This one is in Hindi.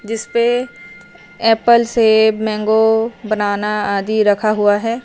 जिसमें एप्पल सेब मैंगो बनाना आदि रखा हुआ है।